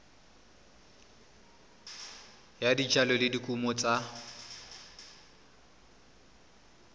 ya dijalo le dikumo tsa